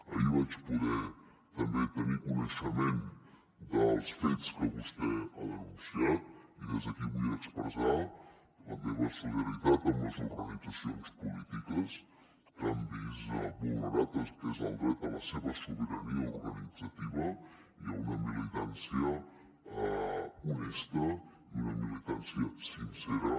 ahir vaig poder també tenir coneixement dels fets que vostè ha denunciat i des d’aquí vull expressar la meva solidaritat amb les organitzacions polítiques que han vist vulnerat el que és el dret a la seva sobirania organitzativa i a una militància honesta i una militància sincera